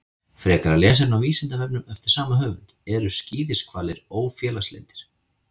Frekara lesefni á Vísindavefnum eftir sama höfund: Eru skíðishvalir ófélagslyndir?